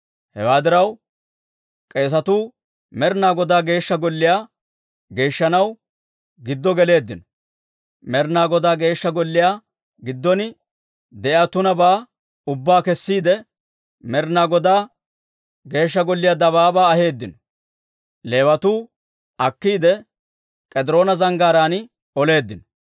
Hewaa diraw, k'eesatuu Med'inaa Godaa Geeshsha Golliyaa geeshshanaw giddo geleeddino; Med'inaa Godaa Geeshsha Golliyaa giddon de'iyaa tunabaa ubbaa kessiide, Med'inaa Godaa Geeshsha Golliyaa dabaabaa aheeddino. Leewatuu akkiide, K'ediroona Zanggaaraan oleeddino.